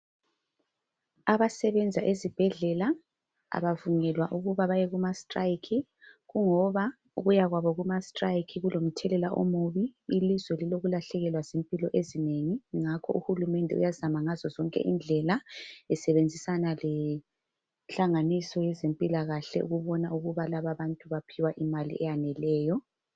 Abasebenza ezibhedlela kabavunyezwa ukuya kumastrike ngoba ukuyakwabo kumastrike kulomtshelela omubi ilizwe lilokulahlekelwa yimpilo ezinengi ngakho uhulumende uyazama ngazo zonke indlela esebenzisana lehlaniso yezempilakahle ukubana labantu bayaphiwa imali eyaneleyo